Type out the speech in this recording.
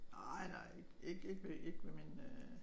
Nej nej ikke ikke ved min øh